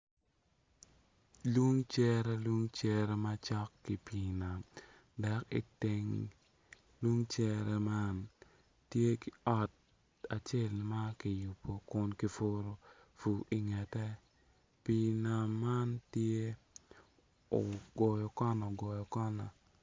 Lung cere lung cere ma cok ki pii nam dok i teng lun cere man tye ki ot acel ma kiyubo kun ki puru pur i ngete, pii nam man tye ogoyo kona ogoyo kana.